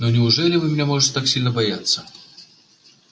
но неужели вы меня можете так сильно бояться